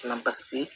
Na paseke